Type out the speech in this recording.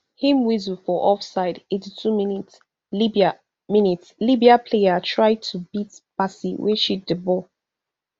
im whistle for offside eighty-two minslibya minslibya player try to beat bassey wey shield di ball